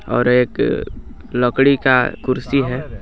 और एक लकड़ी का कुर्सी है.